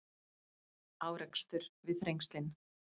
Árekstur við Þrengslin